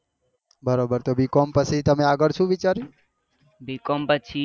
Bcom પછી આગળ શું વિચાર્યુ?